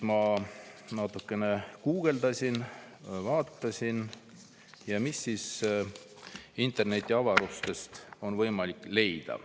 Ma natukene guugeldasin ja vaatasin, mis siis internetiavarustest on võimalik leida.